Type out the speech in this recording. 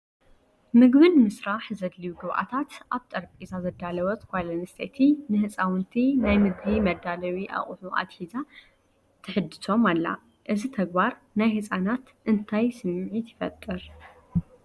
ምግቢ ንምስራሕ ዘድልዩ ግብኣታት ኣብ ጠረጴዛ ዘዳለወት ጓል ኣንስተይቲ ንህፃውንቲ ናይ ምግቢ መዳለዉ ኣቑሑ ኣትሒዛ ተሕድሶም ኣላ፡፡ እዚ ተግባር ንህፃናት እንታይ ስምዒት ይፈጥር?